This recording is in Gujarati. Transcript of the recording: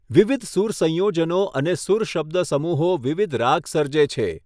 વિવિધ સૂર સંયોજનો અને સૂર શબ્દસમૂહો વિવિધ રાગ સર્જે છે.